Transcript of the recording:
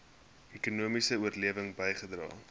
ekonomiese oplewing bygedra